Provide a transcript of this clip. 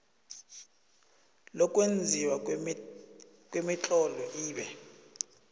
lokwenziwa kwemitlolo ibe